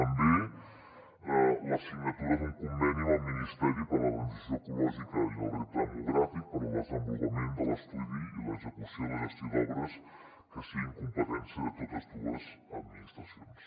també la signatura d’un conveni amb el ministeri per a la transició ecològica i el repte demogràfic per al desenvolupament de l’estudi i l’execució i la gestió d’obres que siguin competència de totes dues administracions